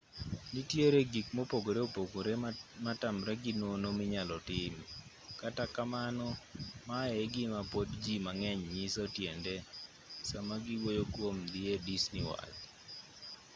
nitiere gik mopogore opogore matamre gi nono minyalo tim kata kamano maye e gima pod ji mang'eny nyiso tiende sama giwuoyo kwom dhi e disney world